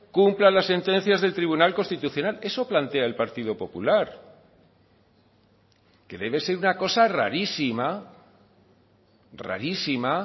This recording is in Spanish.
cumpla las sentencias del tribunal constitucional eso plantea el partido popular que debe ser una cosa rarísima rarísima